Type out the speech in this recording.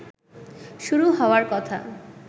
শুরু হওয়ার কথা